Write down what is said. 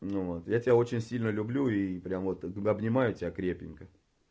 ну вот я тебя очень сильно люблю и прямо вот тогда обнимаю тебя крепенько